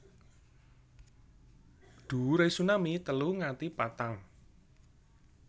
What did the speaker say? Dhuwure tsunami telu nganti patang